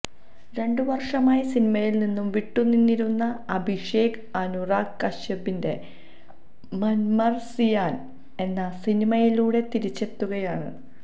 രണ്ടു വര്ഷമായി സിനിമയില്നിന്നും വിട്ടുനിന്നിരുന്ന അഭിഷേക് അനുരഗ് കശ്യപിന്റെ മന്മര്സിയാന് എന്ന സിനിമയിലൂടെ തിരിച്ചെത്തുകയാണ്